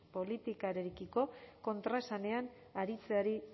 politikarekiko kontraesanean aritzeari